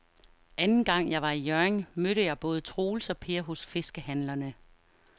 Anden gang jeg var i Hjørring, mødte jeg både Troels og Per hos fiskehandlerne.